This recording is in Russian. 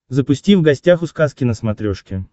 запусти в гостях у сказки на смотрешке